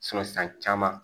san caman